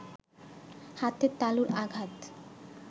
হাতের তালুর আঘাত